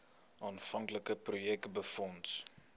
aanvanklike projek befonds